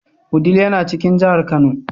Wudil yana cikin jihar Kano.